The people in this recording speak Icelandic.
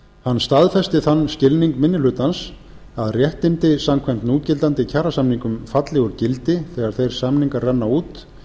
hann staðfesti þann skilning minni hlutans að réttindi samkvæmt núgildandi kjarasamningum falli úr gildi þegar þeir samningar renna út